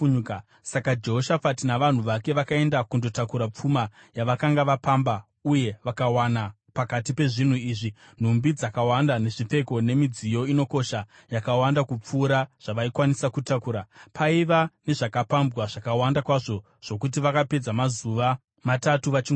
Saka Jehoshafati navanhu vake vakaenda kundotakura pfuma yavakanga vapamba, uye vakawana pakati pezvinhu izvi nhumbi dzakawanda nezvipfeko nemidziyo inokosha, yakawanda kupfuura zvavaikwanisa kutakura. Paiva nezvakapambwa zvakawanda kwazvo zvokuti vakapedza mazuva matatu vachingotakura.